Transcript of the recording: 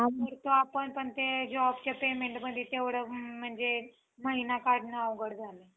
आपण ते jobच्या paymentमध्ये तेवढं म्हणजे महिना काढणं अवघड झालंय.